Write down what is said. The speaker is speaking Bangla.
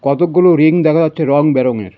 কতকগুলো রিং দেখা যাচ্ছে রঙবেরঙের.